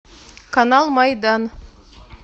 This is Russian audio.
канал майдан